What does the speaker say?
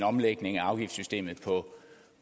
omlægning af afgiftssystemet